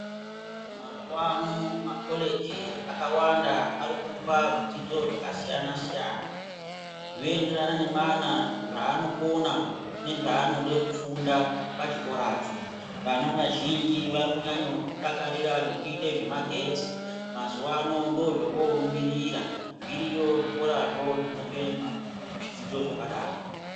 Mazuwa ano makoleji akwanda ari kupa zvidzidzo zvakasiyana siyana zvoenderana nemwana zvaanokona nezvaanode kufunda pachikorapo vana vazhinji vari kunyanye kudakarire zvokuite zvemagetsi mazuwa ano ndozvovorumbirira zviriyo zvikorazvo zvinope ma zvidzidzo zvakadaro.